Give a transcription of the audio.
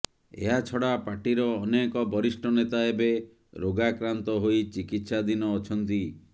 ଏହାଛଡ଼ା ପାର୍ଟିର ଅନେକ ବରିଷ୍ଠ ନେତା ଏବେ ରୋଗାକ୍ରାନ୍ତ ହୋଇ ଚିକିତ୍ସାଧିନ ଅଛନ୍ତି